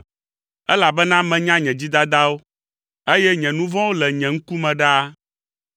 Elabena menya nye dzidadawo, eye nye nu vɔ̃wo le nye ŋkume ɖaa.